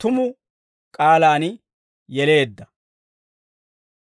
tumu k'aalaan yeleedda.